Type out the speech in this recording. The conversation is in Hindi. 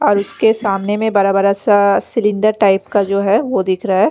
और उसके सामने में बरा-बरा सा सिलिंडर टाइप का जो है वो दिख रहा है।